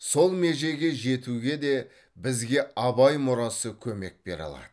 сол межеге жетуге де бізге абай мұрасы көмек бере алады